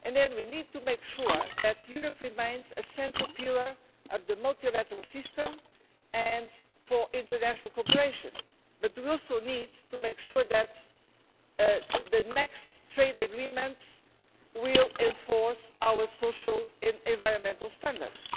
We need to make sure that Europe remains a central pillar of the multilateral system and for international cooperation, but we also need to make sure that the next trade agreements will enforce our social and environmental standards.